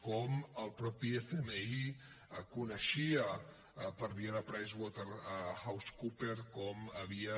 com el mateix fmi coneixia per via de pricewaterhousecoopers com havia